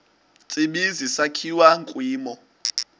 tsibizi sakhiwa kwimo